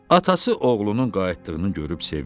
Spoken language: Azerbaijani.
Atası oğlunun qayıtdığını görüb sevindi.